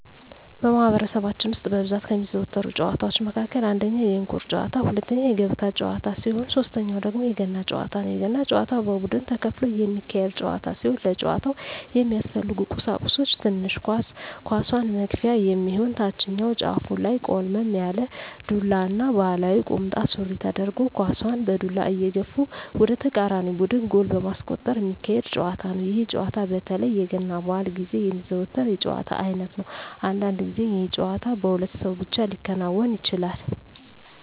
በማህበረሰባችን ውስጥ በብዛት ከሚዘወተሩ ጨዋታወች መካከል አንደኛ የእንቁር ጨዋታ፣ ሁለተኛ የገበጣ ጨዋታ ሲሆን ሶተኛው ደግሞ የገና ጨዋታ ነው። የገና ጨዋታ በቡድን ተከፍሎ የሚካሄድ ጨዋታ ሲሆን ለጨዋታው የሚያስፈልጉ ቀሳቁሶች ትንሽ ኳስ፣ ኳሷን መግፊያ የሚሆን ታችኛው ጫፉ ላይ ቆልመም ያለ ዱላ እና ባህላዊ ቁምጣ ሱሪ ተደርጎ ኳሳን በዱላ እየገፉ ወደ ተቃራኒ ቡድን ጎል በማስቆጠር ሚካሄድ ጨዋታ ነው። ይህ ጨዋታ በተለይ የገና በአል ግዜ የሚዘወተር የጨዋታ አይነት ነው። አንዳንድ ግዜ ይህ ጨዋታ በሁለት ሰው ብቻ ሊከናወን ይችላል።